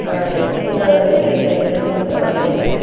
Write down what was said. பின்னால வந்து பெரிய பெரிய பில்டிங்ஸ் எல்லாமே இருக்குது.